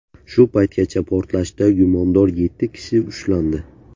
Shu paytgacha portlashda gumondor yetti kishi ushlandi.